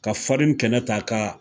Ka farin kɛnɛ ta ka.